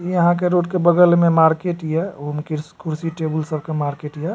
यहाँ के रोड के बगल में मार्केट या उहो में कुर्सी टेबुल सब के मार्केट या।